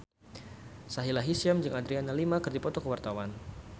Sahila Hisyam jeung Adriana Lima keur dipoto ku wartawan